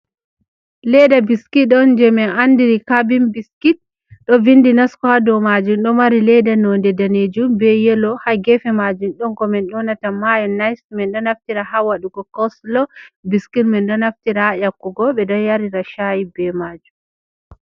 Leda biskit on je min andiri kaabin biskit, ɗo vindi nasko ha dow maajum , ɗo mari leda nonde daneejum, be yelo. Ha geefe maajum ɗon ko min njoonata maayo-nis, min ɗo naftira ha waɗugo koslo, biskit min ɗo naftira ha ƴakkugo, ɓe ɗo yarira shaayi be maajum.